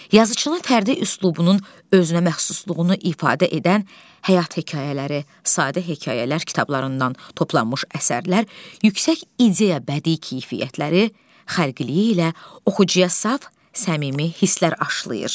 Yazıçının fərdi üslubunun özünəməxsusluğunu ifadə edən Həyat Hekayələri, Sadə Hekayələr kitablarından toplanmış əsərlər yüksək ideya bədii keyfiyyətləri, xəlqiliyi ilə oxucuya saf, səmimi hisslər aşlayır.